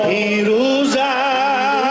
Heydər!